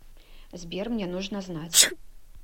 сбер мне нужно знать